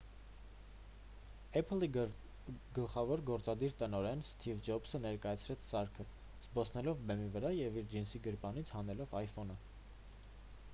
apple-ի գլխավոր գործադիր տնօրեն սթիվ ջոբսը ներկայացրեց սարքը՝ զբոսնելով բեմի վրա և իր ջինսի գրպանից հանելով iphone-ը։